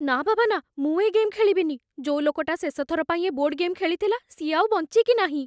ନା ବାବା ନା, ମୁଁ ଏ ଗେମ୍ ଖେଳିବିନି । ଯୋଉ ଲୋକଟା ଶେଷଥର ପାଇଁ ଏ ବୋର୍ଡ ଗେମ୍ ଖେଳିଥିଲା ସିଏ ଆଉ ବଞ୍ଚିକି ନାହିଁ ।